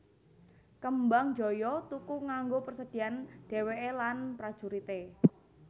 Kembangjoyo tuku kanggo persediaan dhèwèké lan prajurité